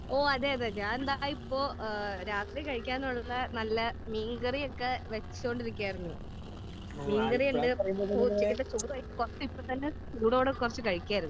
ഓ അതെ അതെ അതെ ഞാൻ ഇതാ ഇപ്പോ ഏഹ് രാത്രി കഴിക്കാൻ ഉള്ള നല്ല മീൻകറി ഒക്കെ വെച്ചോണ്ടിരിക്കുകയായിരുന്നു. മീൻ കറി ഉണ്ട്. ഇപ്പോ ഉച്ചക്കത്തെ ചോർ ഇപ്പോ തന്നെ ചൂടോടെ കുറച്ചു കഴിക്കായിരുന്നു.